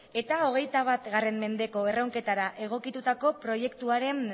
eta hogeita bat mendeko erronketara egokitutako proiektuaren